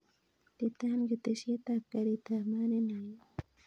Iitan ketesiet ab garit ab maat nenekit